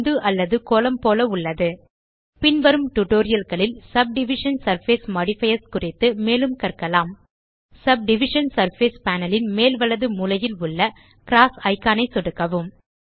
பந்து அல்லது கோளம் போல உள்ளது பின்வரும் டியூட்டோரியல் களில் சப்டிவிஷன் சர்ஃபேஸ் மாடிஃபயர்ஸ் குறித்து மேலும் கற்கலாம் சப்டிவிஷன் சர்ஃபேஸ் பேனல் ன் மேல் வலது மூலையில் உள்ள க்ராஸ் இக்கான் ஐ சொடுக்கவும்